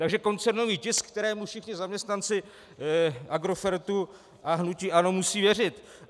Takže koncernový tisk, kterému všichni zaměstnanci Agrofertu a hnutí ANO musí věřit.